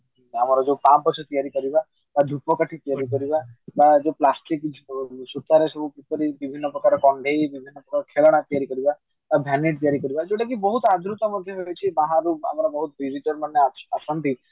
ଆମର ଯୋଉ ପାପୋଛ ତିଆରି କରିବା ଧୂପକାଠି ତିଆରି କରିବା ବା ଯୋଉ plastic ଜିନିଷ ହଉ ସୂତାରେ ରେ ଯୋଉ ବିଭିନ୍ନ ପ୍ରକାର କଣ୍ଢେଇ ବିଭିନ୍ନ ପ୍ରକାର ଖେଳଣା ତିଆରି କରିବା vanity ତିଆରି କରିବା ଯୋଉଟାକି ବହୁତ ଆଦୃତ ମଧ୍ୟ ହେଇଛି ବାହାରୁ ଆମର ବହୁତ visitor ମାନେ ଅଛନ୍ତି